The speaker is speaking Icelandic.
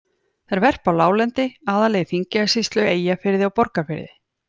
Þær verpa á láglendi, aðallega í Þingeyjarsýslu, Eyjafirði og Borgarfirði.